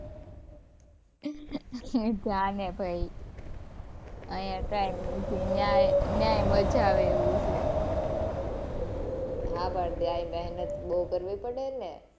જા ને ભાઈ, અહિયાં કાઇ નથી. ત્યાંય ત્યાંય મજા આવે એવું છે. હાં પણ ત્યાંય મહેતન બહુ કરવી પડે ને.